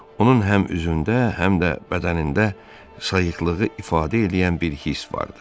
Onun həm üzündə, həm də bədənində sayıqlığı ifadə eləyən bir hiss vardı.